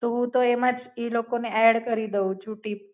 તો હું તો એમાં જ ઈ લોકો ને એડ્ડ કરી દઉં છું ટીપ